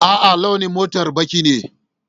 A'a, launin motar baƙi ne.